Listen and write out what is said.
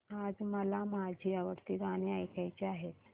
आज मला माझी आवडती गाणी ऐकायची आहेत